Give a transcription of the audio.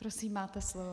Prosím, máte slovo.